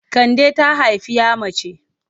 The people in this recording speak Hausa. Kande ta haifi 'ya mace.